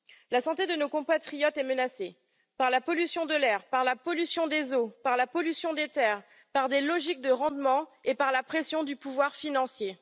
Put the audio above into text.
La santé de nos compatriotes est menacée par la pollution de l'air, par la pollution des eaux, par la pollution des terres, par des logiques de rendement et par la pression du pouvoir financier.